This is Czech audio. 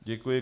Děkuji.